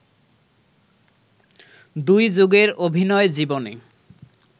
দুই যুগের অভিনয় জীবনে